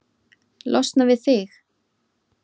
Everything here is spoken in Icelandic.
Losna við þig?